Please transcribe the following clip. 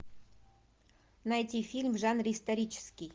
найти фильм в жанре исторический